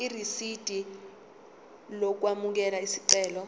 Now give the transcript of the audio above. irisidi lokwamukela isicelo